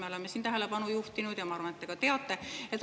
Me oleme siin neile tähelepanu juhtinud ja ma arvan, et te ka teate neid.